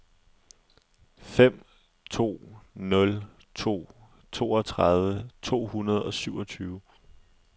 fem to nul to toogtredive to hundrede og syvogtyve